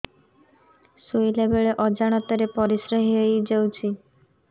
ଶୋଇଲା ବେଳେ ଅଜାଣତ ରେ ପରିସ୍ରା ହେଇଯାଉଛି